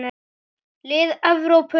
Lið Evrópu.